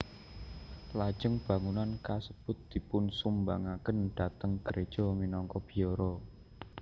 Lajeng bangunan kasebut dipunsumbangaken dhateng gréja minangka biara